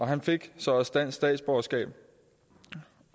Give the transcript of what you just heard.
han fik så også dansk statsborgerskab